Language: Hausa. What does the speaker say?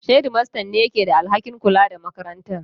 Shedimastan ne ke da alhakin kula da makarantar.